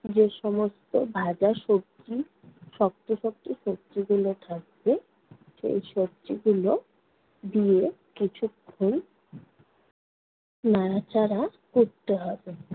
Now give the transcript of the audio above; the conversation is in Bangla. যে সমস্ত ভাজা সবজি শক্ত শক্ত সবজিগুলো থাকবে। সেই সবজিগুলো দিয়ে কিছুক্ষণ নাড়াচাড়া করতে হবে।